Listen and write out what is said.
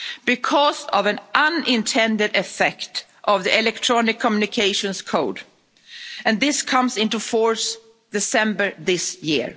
Because of an unintended effect of the Electronic Communications Code, and this comes into force in December this year.